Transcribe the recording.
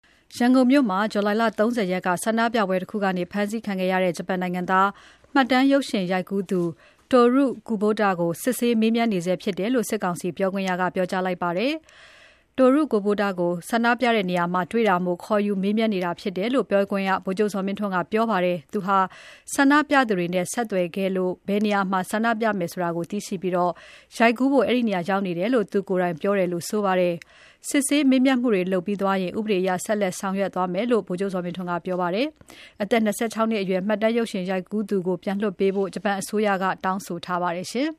ရန်ကုန်မြို့မှာ ဇူလိုင် ၃၀ ရက်က ဆန္ဒပြပွဲသတင်းယူနေစဉ် ဖမ်းဆီးခံခဲ့ရတဲ့ ဂျပန်နိုင်ငံသား မှတ်တမ်းရုပ်ရှင်ရိုက်ကူးသူ Toru Kubota ကို စစ်ဆေးမေးနေဆဲဖြစ်တယ်လို့ စစ်ကောင်စီပြောခွင့်ရက ပြောပါတယ်။ Toru Kubota ကို ဆန္ဒပြတဲ့နေရာမှာ တွေ့တာမို့ ခေါ်ယူမေးမြန်းနေတာဖြစ်တယ် လို့ ပြောခွင့်ရ ဗိုလ်ချုပ်ဇော်မင်းထွန်းက ပြောပါတယ်။ သူဟာ ဆန္ဒပြသူတွေနဲ့ ဆက်သွယ်ခဲ့လို့ ဘယ်နေရာမှာ ဆန္ဒပြမယ်ဆိုတာသိပြီး ရိုက်ကူးဖို့ အဲဒီနေရာ ရောက်နေတာဖြစ်ကြောင်း သူကိုယ်တိုင်ပြောတယ်လို့ ဆိုပါတယ်။ စစ်ဆေးမေးမြန်းမှုတွေ လုပ်ပြီးသွားရင် ဥပဒေအရ ဆက်လက်ဆောင်ရွက်သွားမယ်လို့ ဗိုလ်ချုပ်ဇော်မင်းထွန်းက ပြောပါတယ်။ အသက် ၂၆ နှစ်အရွယ် မှတ်တမ်း ရုပ်ရှင်ရိုက်ကူးသူ Toru Kubota ကို ပြန်လွှတ်ပေးဖို့ ဂျပန်အစိုးရက တောင်းဆိုထားပါတယ်